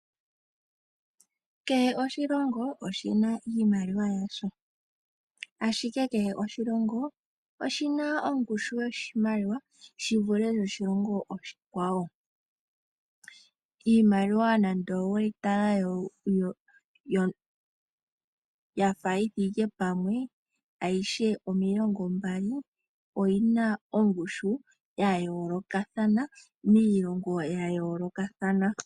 Kehe oshilongo oshina iimaliwa yasho, ashike kehe oshilongo oshina ongushu yoshimaliwa shivule yoshilongo oshikwawo. Iimaliwa nando oweyitala yafa yithike pamwe ayihe omilongo mbali oyina ongushu yayoolokathana miilongo yayoolokathana.